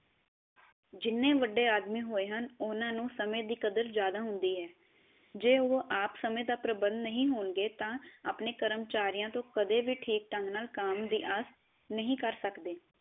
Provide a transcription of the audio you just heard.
ਜਿੰਨੇ ਵੱਡੇ ਆਦਮੀ ਹੋਏ ਹਨ ਉਹਨਾ ਨੂੰ ਸਮੇ ਦੀ ਕਦਰ ਜਿਆਦਾ ਹੁੰਦੀ ਹੈ, ਜੇ ਉਹ ਆਪ ਸਮੇ ਦੇ ਪ੍ਰਬੰਧ ਨਹੀ ਹੋਣਗੇ ਤਾਂ ਆਪਣੇ ਕਰਮਚਾਰਿਆ ਤੋ ਕਦੇ ਵੀ ਠੀਕ ਢੰਗ ਨਾਲ ਕੰਮ ਦੀ ਆਸ ਨਹੀ ਕਰ ਸਕਦੇ।